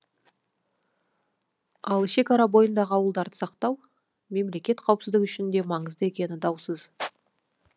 ал шекара бойындағы ауылдарды сақтау мемлекет қауіпсіздігі үшін де маңызды екені даусыз